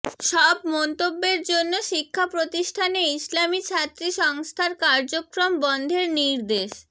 সব মন্তব্যের জন্য শিক্ষা প্রতিষ্ঠানে ইসলামী ছাত্রী সংস্থার কার্যক্রম বন্ধের নির্দেশ